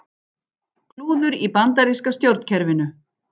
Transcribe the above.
Klúður í bandaríska stjórnkerfinu